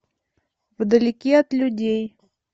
вдалеке от людей